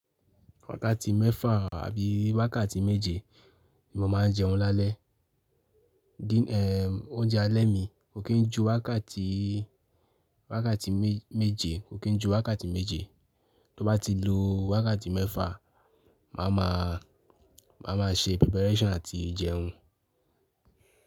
Wákàtí mẹ́fà àbí wákàtí méje ni mo máa ń jẹun lálẹ́. Di n oúnjẹ alẹ́ mi kò kí n ju wákàtí, wákàtí méje, kò kí n ju wákàtí méje. Tó bá ti lo wákàtí mẹ́fà, màá ma, màá ma ṣe preparation àti jẹun.